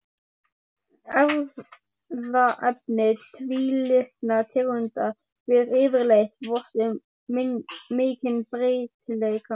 Erfðaefni tvílitna tegunda ber yfirleitt vott um mikinn breytileika.